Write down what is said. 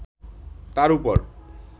তার উপর